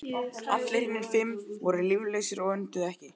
Allir hinir fimm voru líflausir og önduðu ekki.